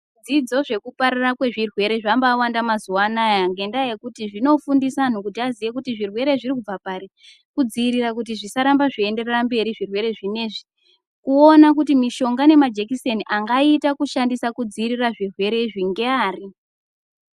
Zvidzidzo zvekupararira kwezvirwere zvambaawanda mazuwa anaa ngendaa yekuti zvinofundisa vantu kuti vaziye kuti zvirwere zviri kubva pari, kudzivirira kuti zvisarambe zveienderera mberi zvirwere zvinezvi, kuona kuti mishonga nemajekiseni angaita kushandisa kudziirira zvirwere izvi ngeari.